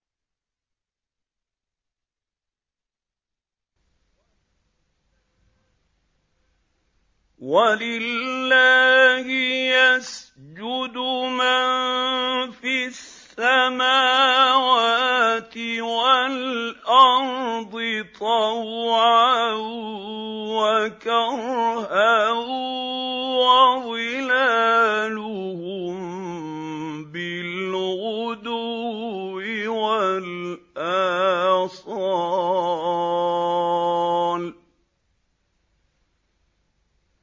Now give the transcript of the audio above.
وَلِلَّهِ يَسْجُدُ مَن فِي السَّمَاوَاتِ وَالْأَرْضِ طَوْعًا وَكَرْهًا وَظِلَالُهُم بِالْغُدُوِّ وَالْآصَالِ ۩